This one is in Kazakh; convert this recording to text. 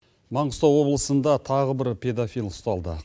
маңғыстау облысында тағы бір педофил ұсталды